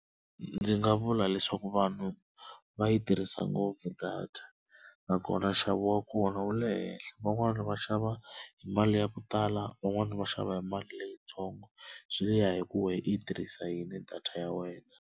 Ndzi nga vula leswaku vanhu va yi tirhisa ngopfu data nakona nxavo wa kona wu le henhla, van'wani va xava hi mali ya ku tala van'wana va xava hi mali leyitsongo swi ya hi ku wena i yi tirhisa yini data ya wena.